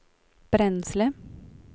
bränsle